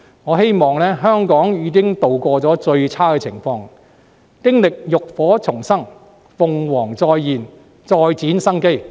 我希望香港已度過最差情况，經歷浴火重生，鳳凰再現，再展生機。